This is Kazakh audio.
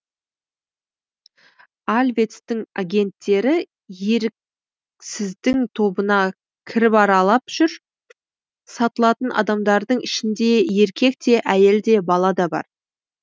альвецтің агенттері еріксіздің тобына кіріп аралап жүр сатылатын адамдардың ішінде еркек те әйел де бала да бар